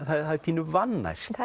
það er pínu vannært